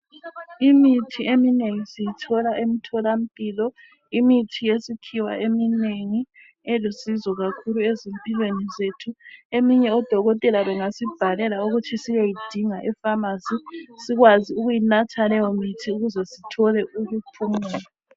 Imithi eminengi siyithola emtholampilo. Imithi yesikhiwa eminengi elusizo kakhulu ezimpilweni zethu. Eminye odokotela bengasibhalela ukuthi siyoyidinga efamasi sikwazi ukuyinatha leyomithi ukuze sithole ukuphumula.